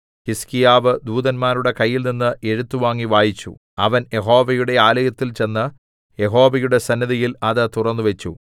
ഹിസ്കീയാവ് ദൂതന്മാരുടെ കയ്യിൽനിന്ന് എഴുത്ത് വാങ്ങി വായിച്ചു അവൻ യഹോവയുടെ ആലയത്തിൽ ചെന്ന് യഹോവയുടെ സന്നിധിയിൽ അത് തുറന്നുവച്ചു